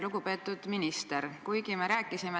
Lugupeetud minister!